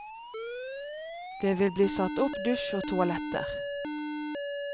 Det vil bli satt opp dusj og toaletter.